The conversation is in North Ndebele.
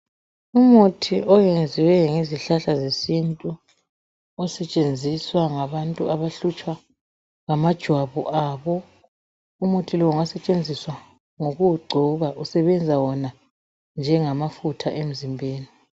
Umuthi oyenziwe ngezihlahla zesintu osetshenziswa ngabantu abahlutshwa ngamajwabu abo, umuthi lowu ngosetshenziswa ngokuwugcoba usebenza wona njengamafutha emzimbeni.